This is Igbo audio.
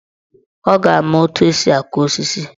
Ọ ga-ama etu esi aku osisi.